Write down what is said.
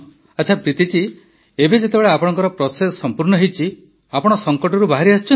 ଆଚ୍ଛା ପ୍ରୀତି ଜୀ ଏବେ ଯେତେବେଳେ ଆପଣଙ୍କ ପ୍ରୋସେସ୍ ସମ୍ପୂର୍ଣ୍ଣ ହେଇଛି ଆପଣ ସଙ୍କଟରୁ ବାହାରିଆସିଛନ୍ତି